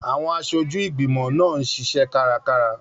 Àwọn aṣojú ìgbìmọ̀ náà ń ṣiṣẹ́ kárakára.